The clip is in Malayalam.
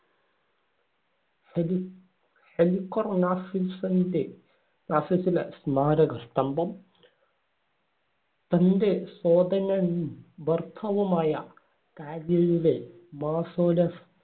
ഹെലി ഹെലിക്കർനാസസ്സിന്‍റെ നാസസ്സിലെ സ്മാരകസ്തംഭം. തന്‍റെ സോദനനും ഭർത്താവുമായ കാദിയയിലെ മളസോലസ്